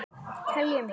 Teljum í!